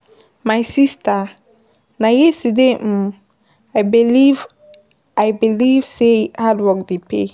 My sista, na yesterday um I believe I believe sey hardwork dey pay.